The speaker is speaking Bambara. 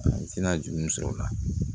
N tɛna juru sɔrɔ o la